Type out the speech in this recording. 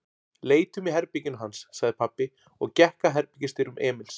Leitum í herberginu hans, sagði pabbi og gekk að herbergisdyrum Emils.